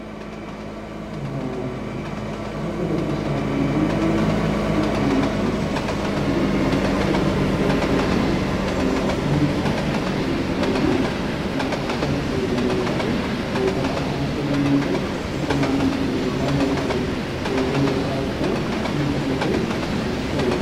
Safote latishashaati yineemk woyite mittu manichi mitte qooxesi danicha eonna latisha ikkewore leelishate loosa la'ano hatto yineemo woyite mittuanni ganibba yee fule doogo losawo ikkiro safote latishi losooti yaate